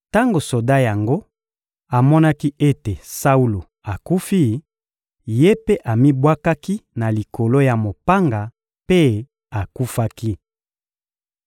Tango soda yango amonaki ete Saulo akufi, ye mpe amibwakaki na likolo ya mopanga mpe akufaki.